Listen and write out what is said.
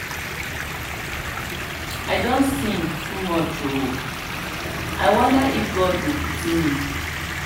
i don sin too much oooo i wonder if god go pity me.